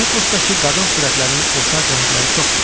Eposdakı qadın sürətlərinin oxşar cəhətləri çoxdur.